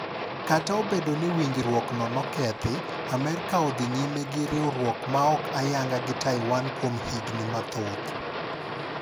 Kata obedo ni winjruok no nokethi, Amerka odhi nyime gi riwruok maok ayanga gi Taiwan kuom higni mathoth.